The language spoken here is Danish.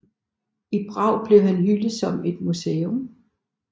I Prag er han hyldet med et museum